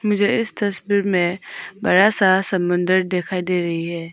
मुझे इस तस्वीर में बड़ा सा समुंदर दिखाई दे रही है।